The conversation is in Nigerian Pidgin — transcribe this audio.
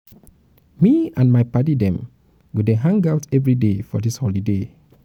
me and my paddy dem go dey hang-out everyday for dis holiday.